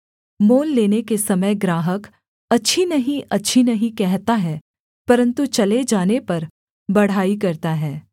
मोल लेने के समय ग्राहक अच्छी नहीं अच्छी नहीं कहता है परन्तु चले जाने पर बढ़ाई करता है